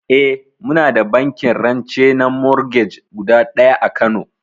Eh muna da bankin rance na morgej guda ɗaya a kano